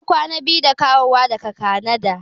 Ya kwana biyu da dawowa daga Kanada.